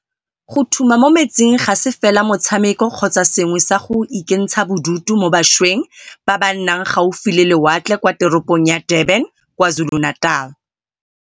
Go thuma mo metsing ga se fela motshameko kgotsa sengwe sa go ikentsha bodutu mo bašweng ba ba nnang gaufi le lewatle kwa teropong ya Durban kwa KwaZulu-Natal